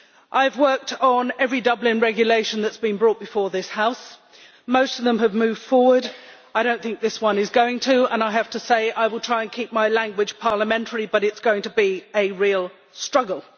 I have worked on every Dublin Regulation that has been brought before this House most of them have moved forward. I do not think this one is going to and I have to say I will try and keep my language parliamentary but it is going to be a real struggle.